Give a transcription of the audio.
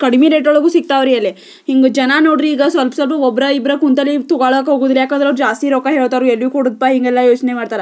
ಕಡಿಮೆ ರಟ್ ಒಳಗೂ ಸಿಕ್ತಾವ್ರಿ ಅಲ್ಲಿ ಇಂಗ ಜನ ನೋಡ್ರಿ ಈಗ ಸಲ್ಪ್ ಸಲ್ಪ ಒಬ್ರ ಇಬ್ರ ಕುಂತಲೆ ಇಂತು ಒಳಾಗ್ ಹೋಗಲ್ಲ ಏಕೆಂದ್ರೆ ಅವರು ಜಾಸ್ತಿ ರೊಕ್ಕ ಹೇಳ್ತಾರೆ ಎಲ್ಲಿದ್ ಕೊಡುದ್ಪಾ ಇಂಗೆಲ್ಲ ಯೋಚನೆ ಮಾಡುತ್ತಾರ.